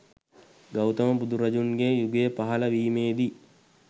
ගෞතම බුදුරජුන්ගේ යුගය පහළ වීමේදී